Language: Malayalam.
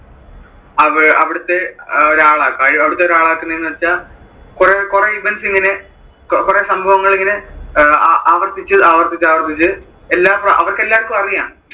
അവിടത്തെ അഹ് അവിടത്തെ ഒരാളാക്കും. അവിടത്തെ ഒരാളാക്കുന്നത് എന്ന് വെച്ചാൽ കുറെ events ഇങ്ങനെ കുറെ സംഭവങ്ങൾ ഇങ്ങനെ അഹ് ആവർത്തിച്ച് ആവർത്തിച്ച് ആവർത്തിച്ച് എല്ലാം അവർക്ക് എല്ലാവര്‍ക്കും അറിയാം.